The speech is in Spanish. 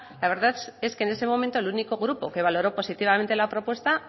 la verdad es que en ese momento el único grupo que valoró positivamente la propuesta